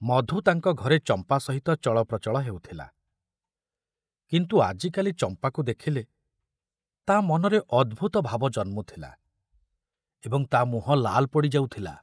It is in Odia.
ମଧୁ ତାଙ୍କ ଘରେ ଚମ୍ପା ସହିତ ଚଳପ୍ରଚଳ ହେଉଥିଲା, କିନ୍ତୁ ଆଜିକାଲି ଚମ୍ପାକୁ ଦେଖୁଲେ ତା ମନରେ ଅଦ୍ଭୁତ ଭାବ ଜନ୍ମଥୁଲା ଏବଂ ତା ମୁହଁ ଲାଇ ପଡ଼ି ଯାଉଥିଲା।